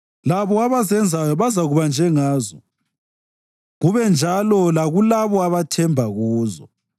Labo abazenzayo bazakuba njengazo, kube njalo lakulabo abathemba kuzo.